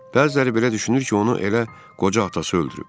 Bəziləri belə düşünür ki, onu elə qoca atası öldürüb.